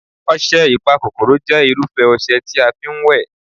ọsẹ Ipakokoro jẹ́ irufẹ ọsẹ tí a fi ń wẹ̀